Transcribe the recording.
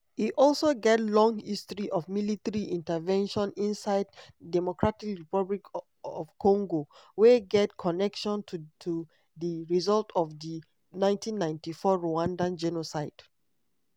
e also get long history of military intervention inside dr congo wey get connection to to di result of di 1994 rwanda genocide.